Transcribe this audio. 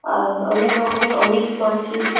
আর অনেক রকমের অনেক মাছ রয়েছে।